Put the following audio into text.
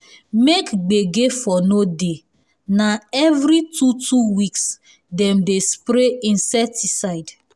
make gbege for no um dey na every two two weeks um dem dey spray insecticide